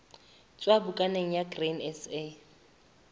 tswa bukaneng ya grain sa